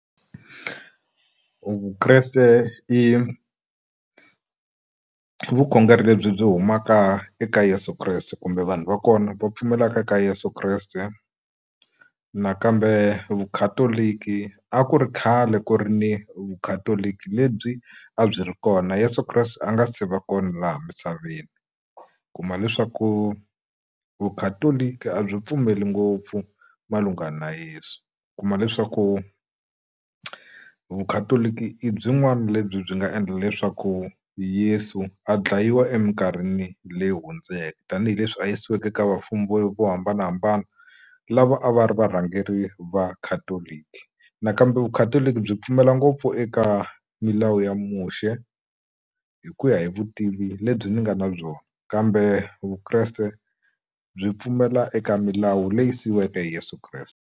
Vukreste i vukhongeri lebyi byi humaka eka Yeso Kreste kumbe vanhu va kona va pfumelaka ka yeso kreste nakambe Vukhatoliki a ku ri khale ku ri ni Vukhatoliki lebyi a byi ri kona Yeso Kreste a nga se va kona laha misaveni u kuma leswaku Vukhatoliki a byi pfumeli ngopfu malungana na Yeso u kuma leswaku vukhatoliki i byin'wana lebyi byi nga endla leswaku Yesu a dlayiwa eminkarhini leyi hundzeke tanihileswi a yisiweke eka vafumi vo vo hambanahambana lava a va ri varhangeri va Catholic nakambe Vukhatoloki byi pfumela ngopfu eka milawu ya Muxe hi ku ya hi vutivi lebyi ni nga na byona kambe Vukreste byi pfumela eka milawu leyi siyiweke hi Yeso Kreste.